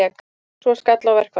Svo skall á verkfall.